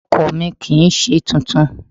Ọkọ̀ mi kì ń ṣe tuntun.